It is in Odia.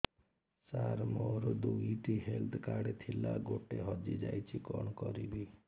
ସାର ମୋର ଦୁଇ ଟି ହେଲ୍ଥ କାର୍ଡ ଥିଲା ଗୋଟେ ହଜିଯାଇଛି କଣ କରିବି